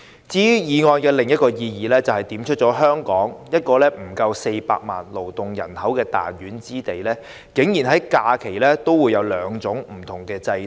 至於議案另一項意義，就是點出了在香港這個勞動人口不足400萬人的彈丸之地，在假期安排上竟然有兩種不同制度。